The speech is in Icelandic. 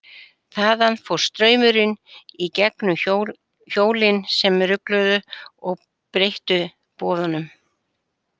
Þaðan fór straumurinn í gegnum hjólin sem rugluðu og breyttu boðunum.